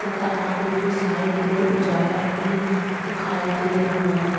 तथा आगे की साइट में उजाला भी दिखाई दे रहा है।